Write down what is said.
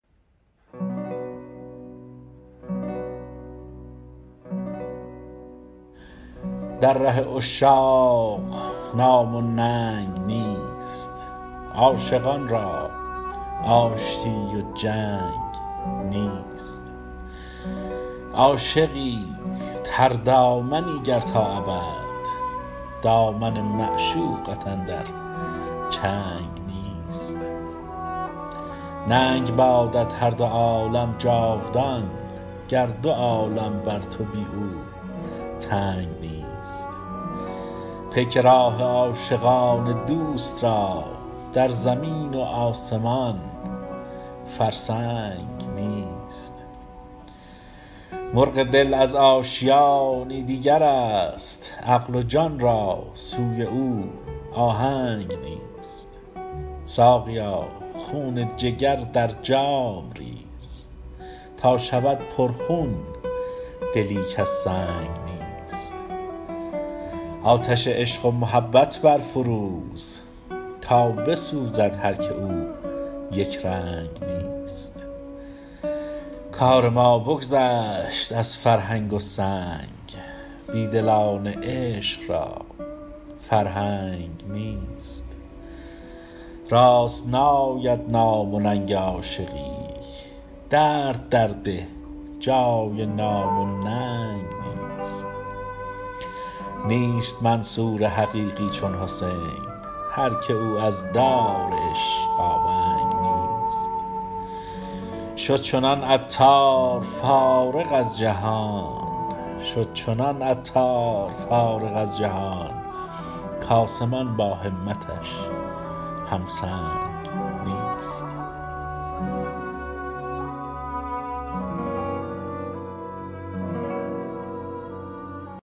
در ره عشاق نام و ننگ نیست عاشقان را آشتی و جنگ نیست عاشقی تردامنی گر تا ابد دامن معشوقت اندر چنگ نیست ننگ بادت هر دو عالم جاودان گر دو عالم بر تو بی او تنگ نیست پیک راه عاشقان دوست را در زمین و آسمان فرسنگ نیست مرغ دل از آشیانی دیگر است عقل و جان را سوی او آهنگ نیست ساقیا خون جگر در جام ریز تا شود پر خون دلی کز سنگ نیست آتش عشق و محبت برفروز تا بسوزد هر که او یک رنگ نیست کار ما بگذشت از فرهنگ و سنگ بیدلان عشق را فرهنگ نیست راست ناید نام و ننگ و عاشقی درد در ده جای نام و ننگ نیست نیست منصور حقیقی چون حسین هر که او از دار عشق آونگ نیست شد چنان عطار فارغ از جهان کآسمان با همتش هم سنگ نیست